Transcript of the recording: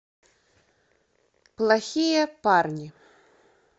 плохие парни